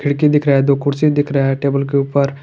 की दिख रहा है दो कुर्सी दिख रहा है टेबल के ऊपर--